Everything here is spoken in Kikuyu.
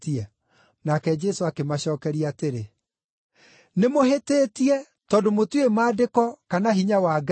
Nake Jesũ akĩmacookeria atĩrĩ, “Nĩmũhĩtĩtie tondũ mũtiũĩ Maandĩko kana hinya wa Ngai?